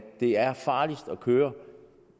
det er farligst at køre